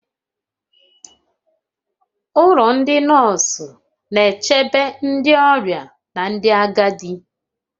Ụlọ ndị nọọsụ na-echebe ndị ọrịa na ndị agadi